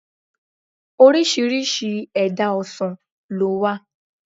Orísirísi èdá ọsàn lówà